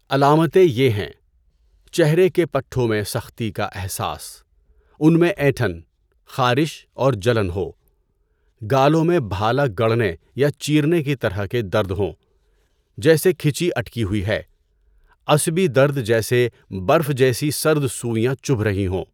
علامتیں یہ ہیں: چہرے کے پٹھوں میں سختی کا احساس، ان میں اینٹھن، خارش اور جلن ہو، گالوں میں بھالا گڑنے یا چیرنے کی طرح کے درد ہوں، جیسے کھچی اٹکی ہوئی ہے، عصبی درد جیسے برف جیسی سرد سوئیاں چبھ رہی ہوں۔